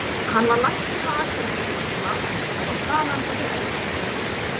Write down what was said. Hann var læknir á Akureyri um tíma en kom þaðan til Eskifjarðar.